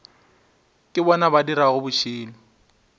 ke bona ba dirago bošilo